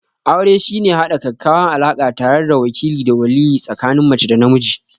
Aure shine haɗa ƙaƙƙawan alaka tare da wakile da waliye tsikanin mace da namiji?